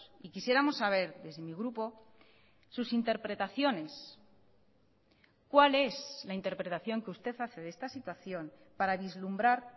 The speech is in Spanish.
y quisiéramos saber desde mi grupo sus interpretaciones cuál es la interpretación que usted hace de esta situación para vislumbrar